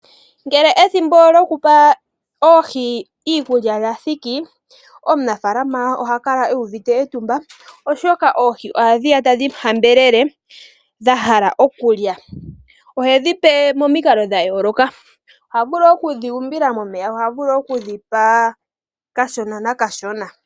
Ngele ethimbo lyokupa oohi iikulya lathiki, omunafaalama ohakala eyuvite etumba oshoka oohi ohadhiya tadhimuhambelele dhahala okulya. ohedhipe momikalo dhayooloka, ohavulu okudhuumbila momeya, ohavulu okudhipa kashona na nakashona.